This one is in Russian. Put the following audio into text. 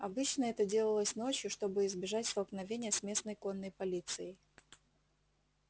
обычно это делалось ночью чтобы избежать столкновения с местной конной полицией